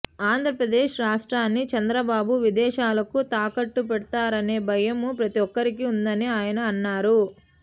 ఆంధ్రప్రదేశ్ రాష్ట్రాన్ని చంద్రబాబు విదేశాలకు తాకట్టు పెడుతారనే భయం ప్రతి ఒక్కరికీ ఉందని ఆయన అననారు